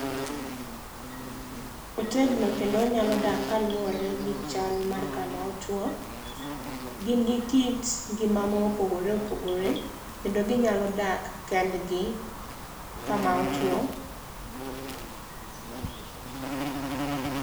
Otegno kendo onyalo dak kaluwore gi chal mar kama otuo. Gin gi kit ngima ma opogore opogore kendo ginyalo dak kendgi kama otuo.